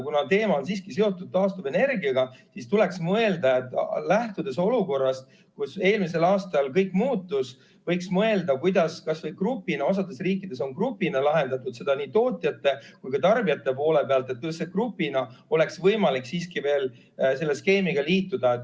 Kuna teema on siiski seotud taastuvenergiaga, siis, lähtudes olukorrast – kuna eelmisel aastal kõik muutus –, võiks mõelda, kuidas kas või grupina – osades riikides on grupina lahendatud seda nii tootjate kui ka tarbijate poole pealt – oleks võimalik siiski veel selle skeemiga liituda.